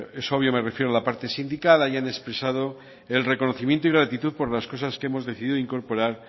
es obvio me refiero a la parte sindical hayan expresado el reconocimiento y la gratitud por las cosas que hemos decidido incorporar